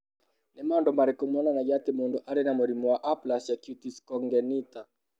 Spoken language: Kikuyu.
Nĩ maũndũ marĩkũ monanagia atĩ mũndũ arĩ na mũrimũ wa Aplasia cutis congenita?